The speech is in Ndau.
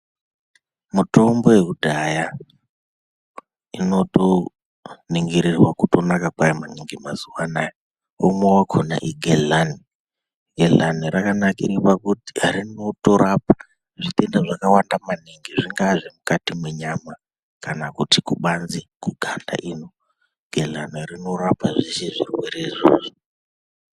Mutombo yekudhaya inotoningirirwa kutonaka kwayo maningi mazuva anaya, umwe wakona igehlani. Gehlani rakanakire pakuti rinotorapa zvitenda zvakawanda maningi zvingaa zvemukati mwenyama kana kuti kubanze kuganda ino. Gehlani rinorapa zvese zvirwere izvozvo.